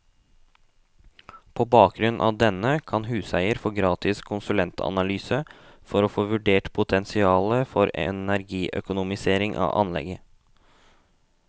På bakgrunn av denne, kan huseier få gratis konsulentanalyse for å få vurdert potensialet for energiøkonomisering av anlegget.